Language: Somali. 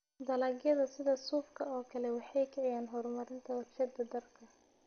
Dalagyada sida suufka oo kale waxay kiciyaan horumarinta warshadaha dharka.